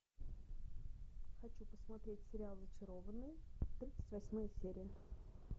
хочу посмотреть сериал зачарованные тридцать восьмая серия